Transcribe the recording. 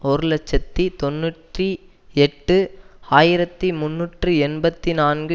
ஒரு இலட்சத்தி தொன்னூற்றி எட்டு ஆயிரத்தி முன்னூற்று எண்பத்தி நான்கு